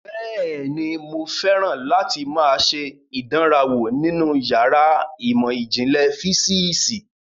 Bẹ́ẹ̀ni, mo fẹ́ràn láti máa ṣe ìdánrawò nínú yàrá ìmọ̀ ìjìnlẹ̀ físíìsì